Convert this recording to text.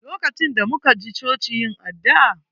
LOkacin da muka ji choci yin addu'a